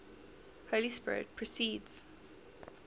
holy spirit proceeds